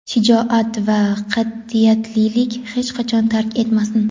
Shijoat va qat’iyatlilik hech qachon tark etmasin.